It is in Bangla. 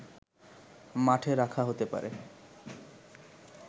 মাঠে রাখা হতে পারে